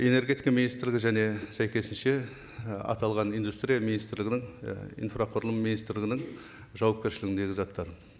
энергетика министрлігі және сәйкесінше і аталған индустрия министрлігінің і инфрақұрылым министрлігінің жуапкершілігіндегі заттар